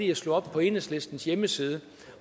jeg slog op på enhedslistens hjemmeside